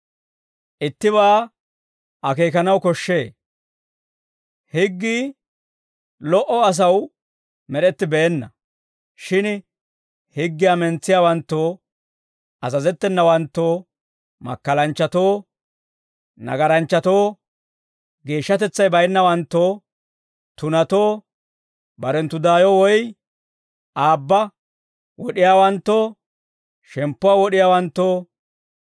Ittibaa akeekanaw koshshee. Higgii lo"o asaw med'ettibeenna. Shin higgiyaa mentsiyaawanttoo, azazettenawanttoo, makkalanchchatoo, nagaranchchatoo, geeshshatetsay baynnawanttoo, tunatoo, barenttu daayo woy aabba wod'iyaawanttoo, shemppuwaa wod'iyaawanttoo,